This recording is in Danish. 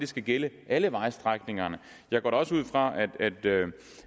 skal gælde alle vejstrækningerne jeg går da også ud fra at